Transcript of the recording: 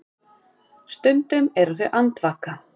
Stundum eru þau andvaka.